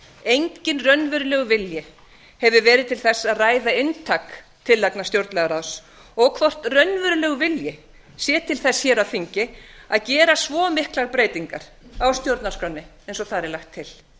enginn raunverulegur vilji hefur verið til þess að ræða inntak tillagna stjórnlagaráðs og hvort raunverulegur vilji sé til þess hér á þingi að gera svo miklar breytingar á stjórnarskránni eins og þar er lagt til